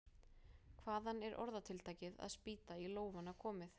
Hvaðan er orðatiltækið að spýta í lófana komið?